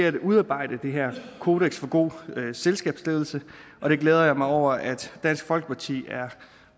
at udarbejde det her kodeks for god selskabsledelse og det glæder jeg mig over at dansk folkeparti er